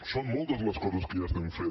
són moltes les coses que ja estem fent